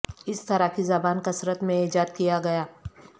اس طرح کی زبان کثرت میں ایجاد کیا گیا